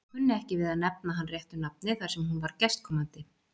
Hún kunni ekki við að nefna hann réttu nafni þar sem hún var gestkomandi.